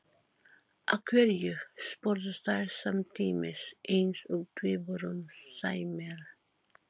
Af hverju? spurðu þær samtímis eins og tvíburum sæmir.